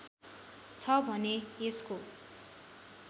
छ भने यसको